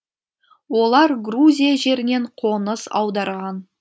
олар грузия жерінен қоныс аударған